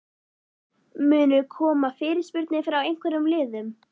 Munu koma fyrirspurnir frá einhverjum liðum?